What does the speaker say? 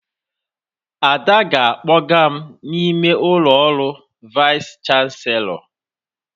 Ada ga-akpọga m n'ime ụlọ ọrụ Vaịs chanselọ